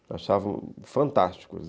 Eu achava fantásticos.